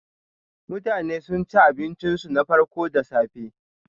Mutane suna cin abincinsu na farko da safe.